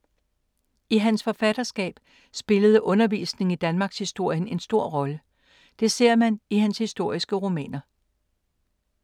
I hans forfatterskab spillede undervisning i danmarkshistorien en stor rolle. Det ser man i hans historiske romaner.